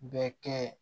Bɛ kɛ